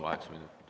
Kaheksa minutit.